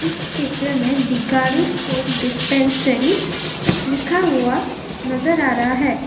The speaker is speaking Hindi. इस चित्र में डिगारु स्टेट डिस्पेंसरी लिखा हुआ नजर आ रहा है।